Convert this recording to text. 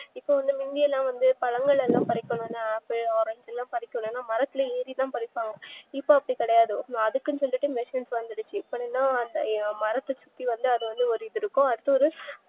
இப்போவந்து பழங்கள் பறிக்கணும்ன ஆப்பிள் ஆரஞ்சுலா பரிக்கணும்னா மரத்துல ஏறி தா பறிப்பாங்க இப்போ அப்டி கிடையாது அதுக்குன்னு சொல்லிட்டு machines ல வந்துடுச்சு அப்றம்மா மரத்தசுத்தி வந்து அதுவந்து